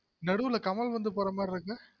நடுவுல கமல் வந்து போற மாறி இருக்கு